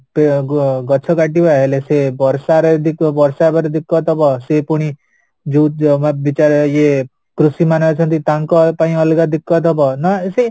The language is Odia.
ଆଃ ଗଛ କାଟିବା ହେଲେ ସେ ବର୍ଷାରେ ଯଦି ବର୍ଷା ହବାର ହବ ସେ ପୁଣି ଯୋଉ ଜମା ବିଚାର ଏ କୃଷି ମାନେ ଅଛନ୍ତି ତାଙ୍କ ପାଇଁ ଅଲଗା ହବ ନା ସେ